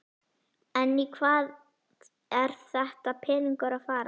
En í hvað er þessi peningur að fara?